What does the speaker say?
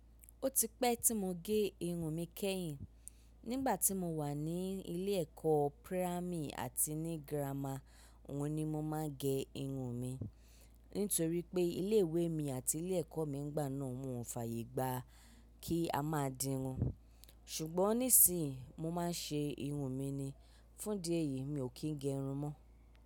Ó ti pẹ́ tí mo gé irun mi kẹ́yìn. Nígbà tí mo wà ní ilé ẹ̀kọ́ pírámì àti ní girama, ohun ni mo máa ń gẹ irun mi. Nítorí pé ilé ìwé mi àti ilé ẹ̀kọ́ nígbà náà ò fàyè gba kí a máa di irun. Ṣùgbọ́n nísìí, mo máa ń ṣe irun mi ni. Fún ìdí èyí mi ò kí ń gẹ irun mọ́.